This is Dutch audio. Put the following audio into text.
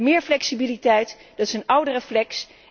Meer flexibiliteit, dat is een oude reflex.